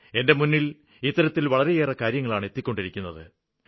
എന്റെ മുന്നില് ഇത്തരത്തില് വളരെയേറെ കാര്യങ്ങളാണ് എത്തിക്കൊണ്ടിരിക്കുന്നത്